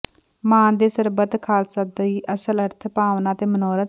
ਮਾਨ ਦੇ ਸਰਬੱਤ ਖ਼ਾਲਸਾ ਦੀ ਅਸਲ ਭਾਵਨਾ ਅਤੇ ਮਨੋਰਥ